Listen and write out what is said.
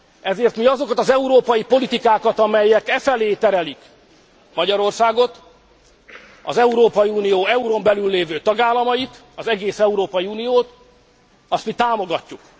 Ezért mi azokat az európai politikákat, amelyek efelé terelik Magyarországot, az Európai Unió eurón belül lévő tagállamait, az egész Európai Uniót, azt mi támogatjuk.